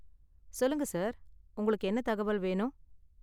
சொல்லுங்க சார், உங்களுக்கு என்ன தகவல் வேணும்?